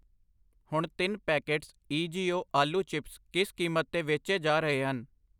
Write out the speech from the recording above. ਹੁਣ ਤਿੰਨ packets EGO ਆਲੂ ਚਿਪਸ ਕਿਸ ਕੀਮਤ 'ਤੇ ਵੇਚੇ ਜਾ ਰਹੇ ਹਨ ?